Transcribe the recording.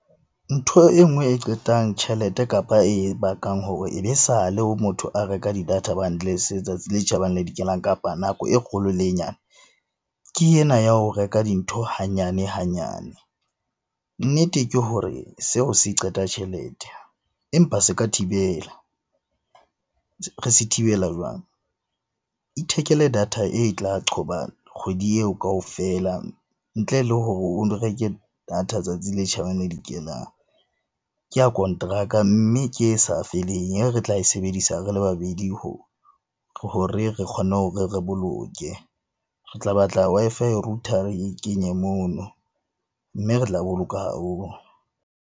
Ntho e nngwe e qetang tjhelete kapa e bakang hore e be sale o motho a reka di-data bundles tsatsi le tjhabang le le dikelang, kapa nako e kgolo le e nyane. Ke ena ya ho reka dintho hanyane hanyane. Nnete ke hore seo se qeta tjhelete, empa se ka thibela re se thibela jwang? Ithekele data e tla qhoba kgwedi eo kaofela, ntle le hore o reke data tsatsi le tjhabang le le dikelang, ke ya konteraka mme ke e sa feleng e re tla e sebedisa re le babedi hore re kgone hore re boloke. Re tla batla Wi-Fi router re e kenye mono. Mme re tla boloka haholo.